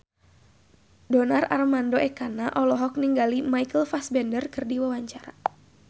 Donar Armando Ekana olohok ningali Michael Fassbender keur diwawancara